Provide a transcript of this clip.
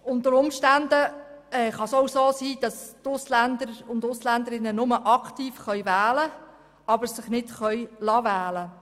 Unter Umständen könnte es auch sein, dass Ausländerinnen und Ausländer nur aktiv wählen, sich aber nicht wählen lassen könnten.